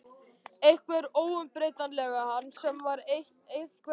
Einhvern óumbreytanlegan mann sem var einhvern veginn.